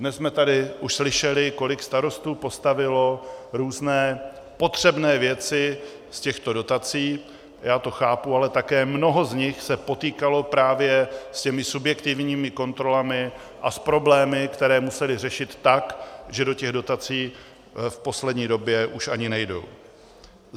Dnes jsme tady už slyšeli, kolik starostů postavilo různé potřebné věci z těchto dotací, já to chápu, ale také mnoho z nich se potýkalo právě s těmi subjektivními kontrolami a s problémy, které museli řešit tak, že do těch dotací v poslední době už ani nejdou.